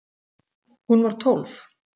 Hún var tólf.